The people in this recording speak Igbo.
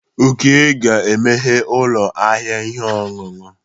Oke ga-emeghe ụlọ ahịa ihe ọṅụṅụ.